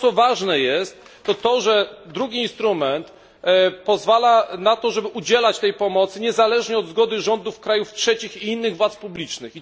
Ważne jest, że drugi instrument pozwala na to, żeby udzielać tej pomocy niezależnie od zgody rządów krajów trzecich i innych władz publicznych.